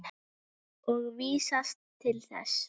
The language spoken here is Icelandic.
og vísast til þess.